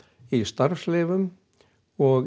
í starfsleyfum og